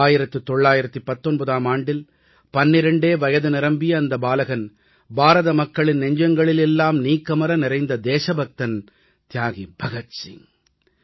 1919ஆம் ஆண்டில் பன்னிரெண்டே வயது நிரம்பிய அந்த பாலகன் பாரத மக்களின் நெஞ்சங்களில் எல்லாம் நீக்கமற நிறைந்த தேசபக்தன் தியாகி பகத் சிங்